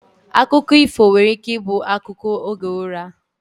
Akụkọ ifo nwere ike ibu akụkọ oge ụra